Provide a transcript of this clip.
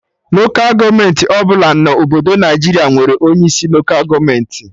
Lokal gọọmenti ọbụla dị na Obodo Naịjiria nwere onye isi Lokal gọọmenti